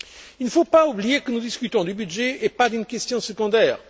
Il ne faut pas oublier que nous discutons du budget et pas d'une question secondaire.